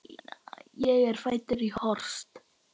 Ég er fæddur í Horst.